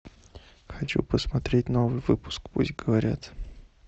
хочу посмотреть новый выпуск пусть говорят